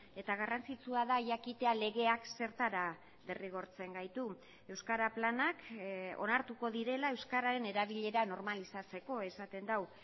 eta garrantzitsua da jakitea legeak zertara derrigortzen gaitu euskara planak onartuko direla euskararen erabilera normalizatzeko esaten du